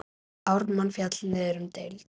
Ármann féll niður um deild.